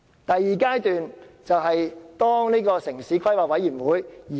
第二階段涉及城市規劃委員會。